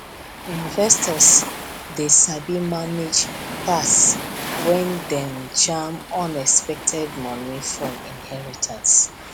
investors dey sabi manage tax when dem jam unexpected money from inheritance